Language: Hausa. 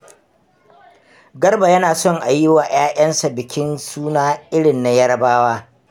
Garba yana son a yi wa 'ya'yansa bikin suna irin na Yarabawa.